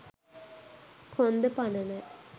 කොන්ද පණ නෑ